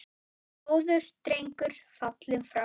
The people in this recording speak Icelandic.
Góður drengur fallinn frá.